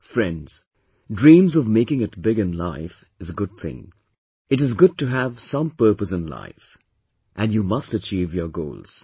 Friends, dreams of making it big in life is a good thing, it is good to have some purpose in life, and you must achieve your goals